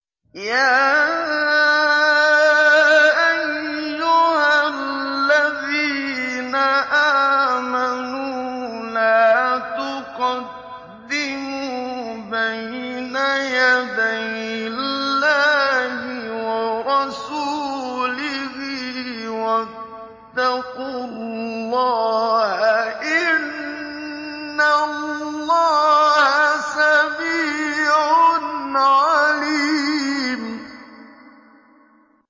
يَا أَيُّهَا الَّذِينَ آمَنُوا لَا تُقَدِّمُوا بَيْنَ يَدَيِ اللَّهِ وَرَسُولِهِ ۖ وَاتَّقُوا اللَّهَ ۚ إِنَّ اللَّهَ سَمِيعٌ عَلِيمٌ